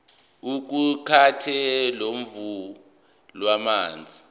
iqukathe uhlamvu lwamazwi